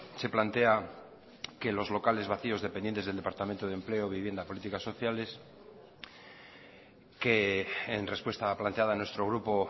se plantea que los locales vacíos dependientes del departamento de empleo vivienda políticas sociales que en respuesta planteada a nuestro grupo